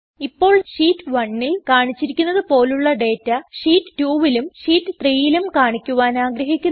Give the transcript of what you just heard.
ഇപ്പോൾ ഷീറ്റ് 1ൽ കാണിച്ചിരിക്കുന്നത് പോലുള്ള ഡേറ്റ ഷീറ്റ് 2ലും ഷീറ്റ് 3ലും കാണിക്കുവാൻ ആഗ്രഹിക്കുന്നു